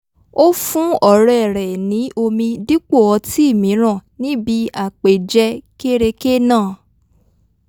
ó fún ọ̀rẹ́ rẹ̀ ní omi dípò ọtí mìíràn níbi àpèjẹ kéreké náà